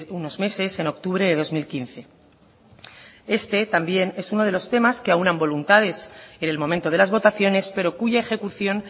unos meses en octubre de dos mil quince este también es uno de los temas que aúnan voluntades en el momento de las votaciones pero cuya ejecución